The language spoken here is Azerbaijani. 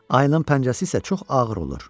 Ayının pəncəsi isə çox ağır olur.